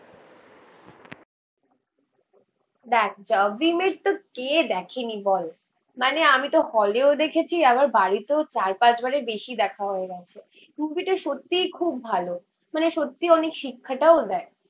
দেখ Jab we met তো কে দেখেনি বল? মানে আমি তো হলেও দেখেছি, আবার বাড়িতেও চার পাঁচ বারের বেশি দেখা হয়ে গেছে. মুভি টা সত্যিই খুব ভালো. মানে সত্যিই অনেক শিক্ষাটাও দেয়.